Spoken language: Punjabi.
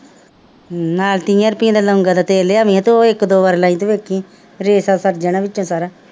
ਹੂੰ ਨਾਲ ਤੀਹਾਂ ਰੁਪਇਆ ਦਾ ਲੌਂਗਾਂ ਦਾ ਤੇਲ ਲਿਆਉਂਦੀ ਆ ਤੇ ਉਹ ਇੱਕ ਦੋ ਵਾਰ ਲਾਈਂ ਤੇ ਵੇਖੀ ਰੇਸ਼ਾ ਖੁਰ ਜਾਣਾ ਵਿੱਚੋਂ ਸਾਰਾ